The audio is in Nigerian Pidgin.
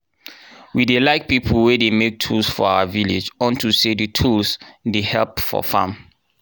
we dey like people wey dey make tool for our village unto say di tools dey help for farm.